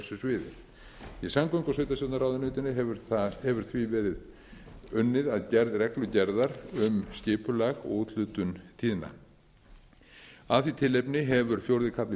sviði í samgöngu og sveitarstjórnarráðuneytinu hefur því verið unnið að gerð reglugerðar um skipulag og úthlutun tíðna af því tilefni hefur fjórði kafli